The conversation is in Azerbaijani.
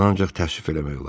Bunu ancaq təəssüf eləmək olar.